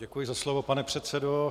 Děkuji za slovo, pane předsedo.